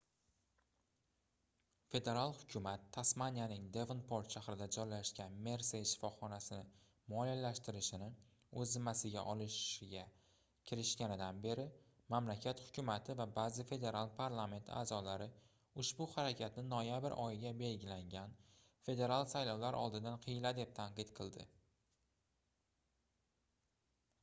federal hukumat tasmaniyaning devonport shahrida joylashgan mersey shifoxonasini moliyalashtirishni oʻz zimmasiga olishga kirishganidan beri mamlakat hukumati va baʼzi federal parlament aʼzolari ushbu harakatni noyabr oyiga belgilangan federal saylovlar oldidan hiyla deb tanqid qildi